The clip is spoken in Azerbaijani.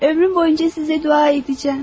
Ömrüm boyu sizə dua edəcəyəm.